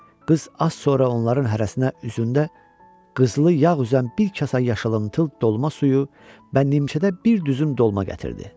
Qız az sonra onların hərəsinə üzündə qızılı yağ üzən bir kasa yaşılımtıl dolma suyu və nimçədə bir düzüm dolma gətirdi.